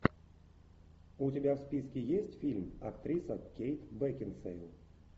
у тебя в списке есть фильм актриса кейт бекинсейл